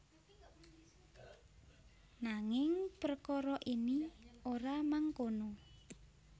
Nanging prekara ini ora mangkono